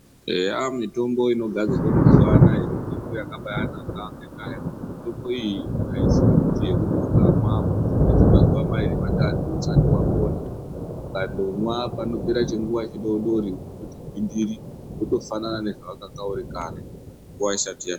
Eya mitombo inogadzirwa mazuwa ano aya mitombo yakaba yanaka ngenda yekuti mitombo iyi haisi yekuti ukamwa unozopedze mazuwa mairi matatu usati wapona ,ukandomwa panopera chinguwa chidodori unototi gwindiri wotofanane nezvawanga uri kare nguwa isati yapera.